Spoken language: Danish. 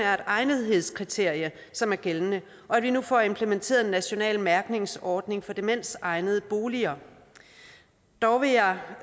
egnethedskriterium som er gældende og at vi nu får implementeret en national mærkningsordning for demensegnede boliger dog vil jeg